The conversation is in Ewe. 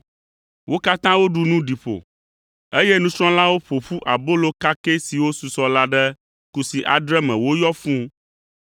Wo katã woɖu nu ɖi ƒo, eye nusrɔ̃lawo ƒo ƒu abolo kakɛ siwo susɔ la ɖe kusi adre me woyɔ fũu.